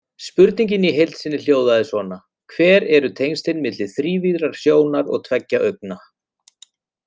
Spurningin í heild sinni hljóðaði svona: Hver eru tengslin milli þrívíðrar sjónar og tveggja augna?